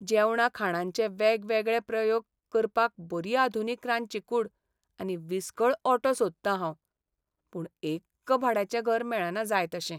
जेवणा खाणांचे वेगवेगळे प्रयोग करपाक बरी आधुनीक रांदची कूड आनी विसकळ ओटो सोदतां हांव, पूण एक्क भाड्याचें घर मेळना जाय तशें.